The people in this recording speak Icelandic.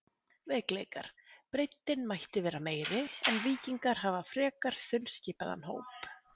Veikleikar: Breiddin mætti vera meiri en Víkingar hafa frekar þunnskipaðan hóp.